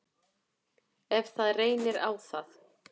Ef það reynir á það.